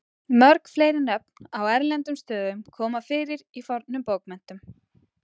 mörg fleiri nöfn á erlendum stöðum koma fyrir í fornum bókmenntum